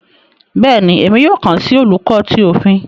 Béèni, Èmí yóò kán si Oluko tí Òfin